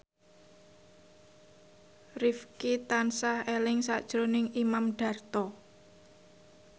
Rifqi tansah eling sakjroning Imam Darto